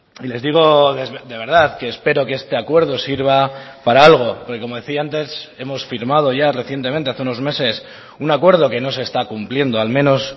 y les digo de verdad que espero que este acuerdo sirva para algo porque como decía antes hemos firmado ya recientemente hace unos meses un acuerdo que no se está cumpliendo al menos